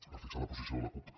per fixar la posició de la cup